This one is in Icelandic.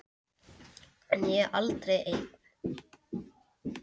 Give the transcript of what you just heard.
En ég er aldrei ein.